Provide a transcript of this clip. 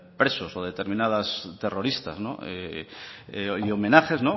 presos o de determinadas terroristas homenajes